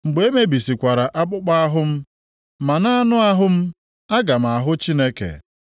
Mgbe e mebisikwara akpụkpọ ahụ m, ma nʼanụ ahụ m aga m ahụ Chineke.